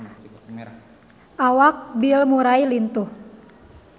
Awak Bill Murray lintuh